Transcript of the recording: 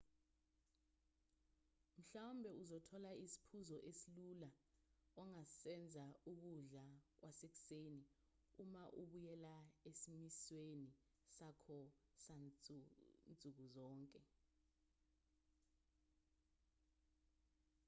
mhlawumbe uzothola isiphuzo esilula ongasenza sokudla kwasekuseni uma ubuyela esimisweni sakho sansuku zonke